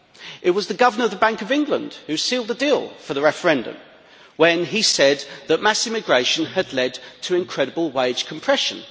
It was the Governor of the Bank of England who sealed the deal for the referendum when he said that mass immigration had led to incredible wage compression.